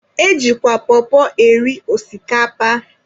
E jikwa pọpọ eri osikapa.